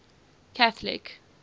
catholic